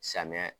Samiya